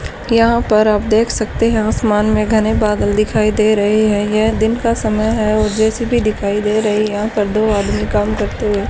यहां पर आप देख सकते हैं आसमान में घने बादल दिखाई दे रहे हैं यह दिन का समय है और दृश्य भी दिखाई दे रही है यहां पर दो आदमी काम करते हुए --